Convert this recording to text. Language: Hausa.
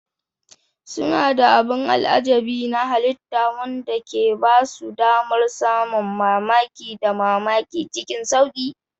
Suna da abin al'ajabi na halitta wanda ke ba su damar samun mamaki da mamaki cikin sauƙi.